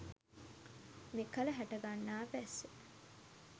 මෙකල හටගන්නා වැස්ස